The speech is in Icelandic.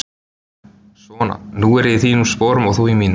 Svona, nú er ég í þínum sporum og þú í mínum.